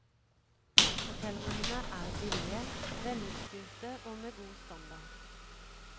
Hotellrommene er billige, velutstyrte og med god standard.